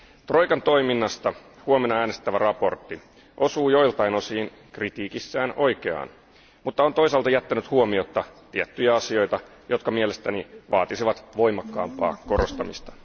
Troikan toiminnasta huomenna äänestettävä mietintö osuu joiltain osin kritiikissään oikeaan, mutta on toisaalta jättänyt huomiotta tiettyjä asioita, jotka mielestäni vaatisivat voimakkaampaa korostamista.